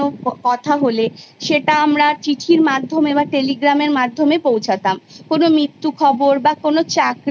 এবার আসি শিক্ষা ব্যবস্থার ক্ষেত্রে শিক্ষা ব্যবস্থা মূলত আমরা School Life এ যখন প্রবেশ করি তখনি শুরু হয়ে যায়